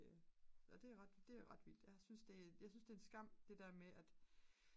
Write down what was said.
og det er ret vildt jeg synes det er en skam det der med at